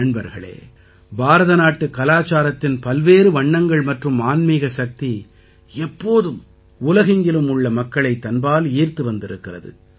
நண்பர்களே பாரதநாட்டுக் கலாச்சாரத்தின் பல்வேறு வண்ணங்கள் மற்றும் ஆன்மீக சக்தி எப்போதும் உலகெங்கிலும் உள்ள மக்களைத் தன்பால் ஈர்த்து வந்திருக்கிறது